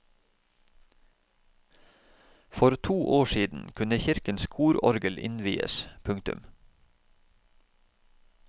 For to år siden kunne kirkens kororgel innvies. punktum